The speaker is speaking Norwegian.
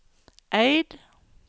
Eid